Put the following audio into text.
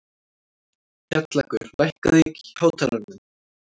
Kjallakur, lækkaðu í hátalaranum.